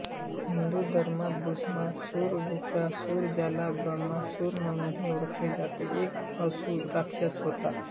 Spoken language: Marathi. हिंदू धर्मात भस्मासुरवृकासुर ज्याला ब्रह्मासुर म्हणूनही ओळखले जाते हा एक असुरराक्षस होता